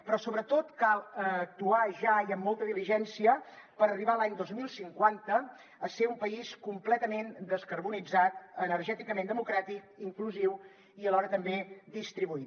però sobretot cal actuar ja i amb molta diligència per arribar l’any dos mil cinquanta a ser un país completament descarbonitzat energèticament democràtic inclusiu i alhora també distribuït